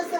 ni.